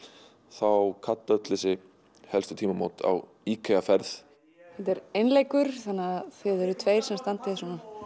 þá kalla öll þessi helstu tímamót á IKEA ferð þetta er einleikur þannig að þið eruð tveir sem standið svona